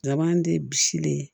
Laban de bisilen